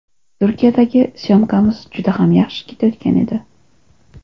Turkiyadagi syomkamiz juda ham yaxshi ketayotgan edi.